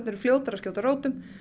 eru fljótari að skjóta rótum